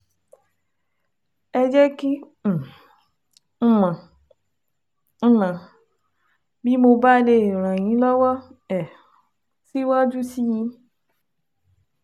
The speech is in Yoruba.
Ẹ jẹ́ kí um n mọ̀ n mọ̀ bí mo bá lè ràn yín lọ́wọ́ um síwájú sí i